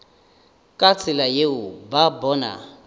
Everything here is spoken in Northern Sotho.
ka tsela yeo ba bona